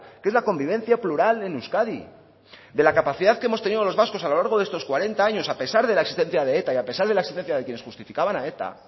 que es la convivencia plural en euskadi de la capacidad que hemos tenido los vascos a lo largo de estos cuarenta años a pesar de la existencia de eta y a pesar de la existencia de quienes justificaban a eta